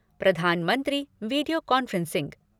Pradhan Mantri video conferencing